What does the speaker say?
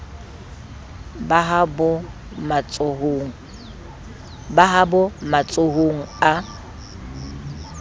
ba ha bo matsohong a